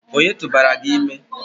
Ònye tụbara gị ime?